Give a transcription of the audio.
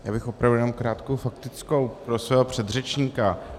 Já bych opravdu jenom krátkou faktickou pro svého předřečníka.